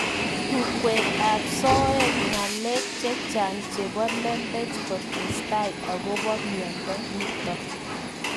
Tungwek ab soet, ngalek chechang chebo lembech kotesetai akobo mnyendo nitok.